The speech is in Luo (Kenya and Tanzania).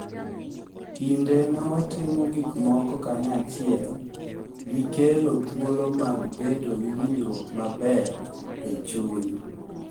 Kinde ma watimo gikmoko kanyachielgi kelo thuolo mag bedo gi winjruok maber e chuny.